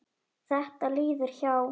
Þetta líður hjá.